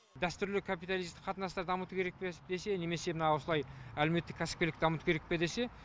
дәстүрлі капиталистік қатынастарды дамыту керек пе десе немесе мына осылай әлеуметтік кәсіпкерлікті дамыту керек пе десе